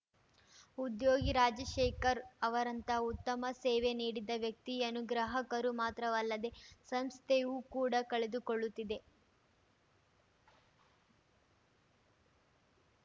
ಉದ್ಯೋಗಿ ರಾಜಶೇಖರ್‌ ಅವರಂತಹ ಉತ್ತಮ ಸೇವೆ ನೀಡಿದ ವ್ಯಕ್ತಿಯನ್ನು ಗ್ರಾಹಕರು ಮಾತ್ರವಲ್ಲದೇ ಸಂಸ್ಥೆಯೂ ಕೂಡ ಕಳೆದುಕೊಳ್ಳುತ್ತಿದೆ